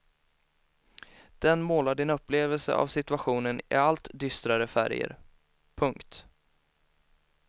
Den målar din upplevelse av situationen i allt dystrare färger. punkt